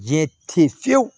Jɛ te fiyewu